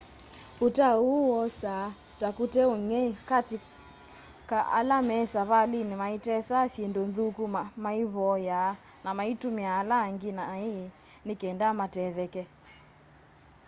utao uu wosaa ta kute ung'ei kati ka ala me savaliini maitesaa syindu nthuku maivoyaa na maitumia ala angĩ nai ni kenda matetheke